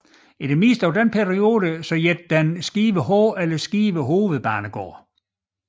I det meste af den periode hed den Skive H eller Skive Hovedbanegård